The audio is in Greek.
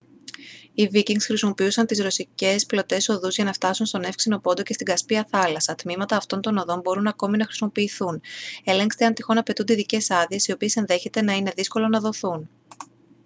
οι βίκινγκς χρησιμοποιούσαν τις ρωσικές πλωτές οδούς για να φτάσουν στον εύξεινο πόντο και στην κασπία θάλασσα τμήματα αυτών των οδών μπορούν ακόμη να χρησιμοποιηθούν ελέγξτε αν τυχόν απαιτούνται ειδικές άδειες οι οποίες ενδέχεται να είναι δύσκολο να δοθούν